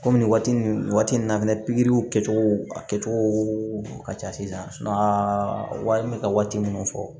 Kɔmi waati min na fɛnɛ pikiriw kɛcogo a kɛcogo ka ca sisan wari bɛ ka waati minnu fɔ